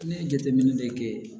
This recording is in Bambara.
Ne ye jateminɛ de kɛ